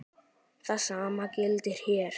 Það sama gildir hér.